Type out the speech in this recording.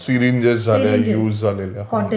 syringes झाल्या use झालेल्या